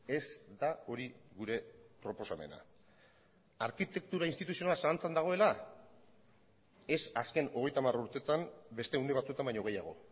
ez da hori gure proposamena arkitektura instituzionala zalantzan dagoela ez azken hogeita hamar urteetan beste une batzuetan baino gehiago